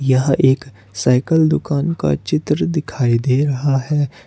यह एक साइकल दुकान का चित्र दिखाई दे रहा है।